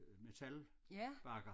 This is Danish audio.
Metalbakker